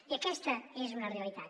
i aquesta és una realitat